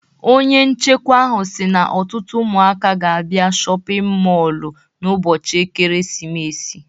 Onye nchikwa ahụ si n'ọtụtụ ụmụaka ga-abịa shọpịn mọlụ n'ụbọchị ekeresimesi.